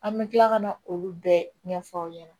An bɛ tila kana olu bɛɛ ɲɛfɔ aw ɲɛna